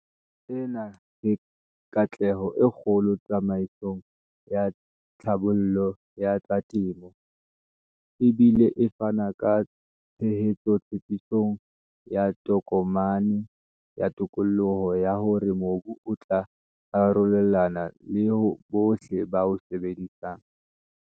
Ena ke katleho e kgolo tsamaisong ya tlhabollo ya tsa temo, e bile e fana ka tshehetso tshepisong ya Tokomane ya Tokoloho ya hore mobu o tla arolelanwa le bohle ba o sebetsang.